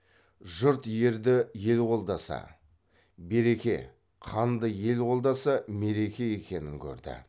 жұрт ерді ел қолдаса береке ханды ел қолдаса мереке екенін көрді